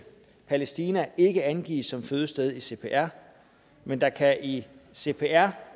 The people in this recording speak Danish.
palæstina ikke angives som fødested i cpr men der kan i cpr